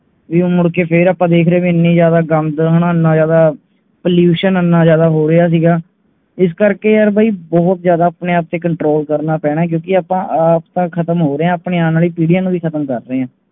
ਤੁਹੀ ਮੁੜ ਕੇ ਫਿਰ ਦੇਖ ਰਹੇ ਗੰਦ ਹੰਚਿਨਾ ਜਾਂਦਾ Pollution ਇਹਨਾਂ ਜਾਂਦਾ ਹੋ ਰਿਹਾ ਹੇਗਾ ਇਸ ਕਰਕੇ ਬਹੁਤ ਜਾਂਦਾ ਆਪਣੇ Control ਕਰਨਾ ਪੇਏਨਾ ਆਪ ਨੂੰ ਵੀ ਖਤਮ ਤੇ ਆਪਣੇ ਆਉਣ ਵਾਲੇ ਪੀੜੀਆਂ ਨੂੰ ਵੀ ਖਤਮ ਕਰ ਰਹੇ ਹੈ